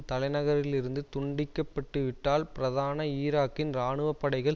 தலை நகரிலிருந்து துண்டிக்கப்பட்டுவிட்டால் பிரதான ஈராக்கின் இராணுவ படைகள்